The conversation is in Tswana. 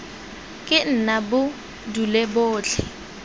ke nna bo dule botlhe